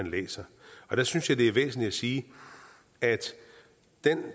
læser og der synes jeg det er væsentligt at sige at